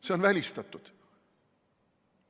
See on välistatud.